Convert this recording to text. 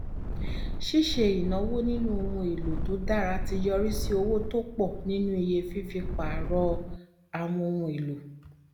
ṣíṣe ìnáwó nínú ohun èlò tó dára ti yọrí sí owó tó pọ nínú iye fífi pààrọ àwọn ohun èlò